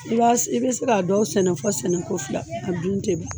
I b'a i be se k'a dɔw sɛnɛ fɔ sɛnɛko fila a dun te ban